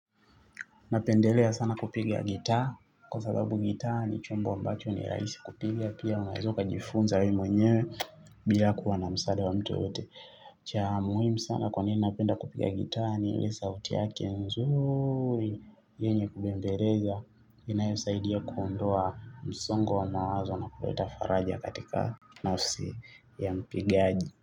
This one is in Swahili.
Napendelea sana kupiga gitaa. Kwa sababu gitaa ni chombo ambacho ni rahisi kupiga. Pia unaeza ukajifunza wewe mwenyewe. Bila kuwa na msaada wa mtu yoyote. Cha muhimu sana kwa nini napenda kupiga gitaa ni ile sauti yake nzuri. Yenye kubembeleza. Inayosaidia kuondoa msongo wa mawazo na kuleta faraja katika nafsi ya mpigaji.